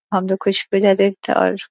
और --